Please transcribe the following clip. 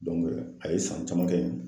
a ye san caman kɛ